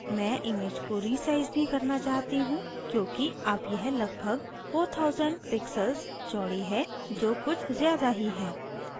मैं image को resize भी करना चाहती हूँ क्योंकि अब यह लगभग 4000 pixels चौड़ी है जो कुछ ज़्यादा ही है